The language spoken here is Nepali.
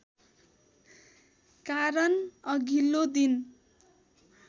कारण अघिल्लो दिन